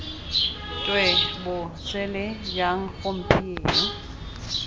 twe bo sele jang gompieno